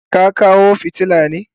Ka kawo filaya na?